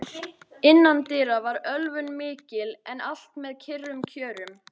Gúa, hvernig er veðrið á morgun?